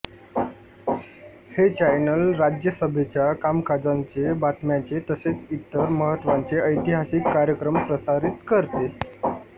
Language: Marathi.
हे चॅनल राज्यसभेच्या कामकाजांचे बातम्यांचे तसेच इतर महत्त्वाचे ऐतिहासिक कार्यक्रम प्रसारित करते